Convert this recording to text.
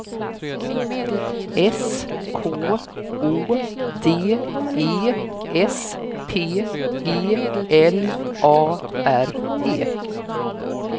S K Å D E S P E L A R E